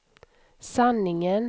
sanningen